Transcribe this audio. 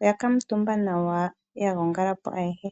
oya kuutumba nawa ya gongalapo ayehe.